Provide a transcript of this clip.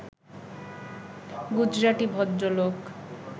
গুজরাটি ভদ্রলোক